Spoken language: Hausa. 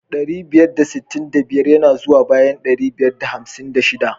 Ɗari biyar da sittin da biyar ya na zuwa bayan dari biyar da hamsin da shiɗa.